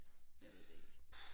Jeg ved det ikke